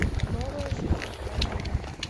новая жизнь отзывы